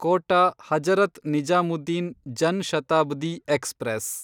Kota Hazrat Nizamuddin Jan Shatabdi express